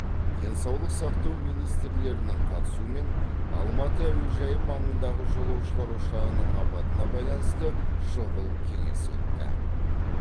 денсаулық сақтау министрлерінің қатысуымен алматы әуежайы маңындағы жолаушылар ұшағының апатына байланысты шұғыл кеңес өтті